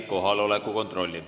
Kohaloleku kontroll.